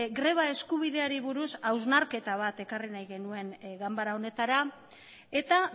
greba eskubideari buruz hausnarketa bat ekarri nahi genuen ganbara honetara eta